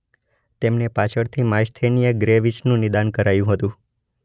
તેમને પાછળથી માયસ્થેનિયા ગ્રેવિસનું નિદાન કરાયું હતું.